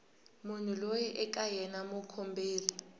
munhu loyi eka yena mukomberi